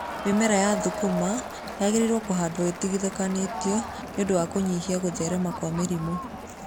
Mĩmera ya thũkũma yagĩrĩirwo kũhandwa ĩtigithanĩtio nĩ ũndũ wa kũnyihia gũtherema kwa mĩrimũ.